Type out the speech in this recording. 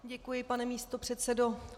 Děkuji, pane místopředsedo.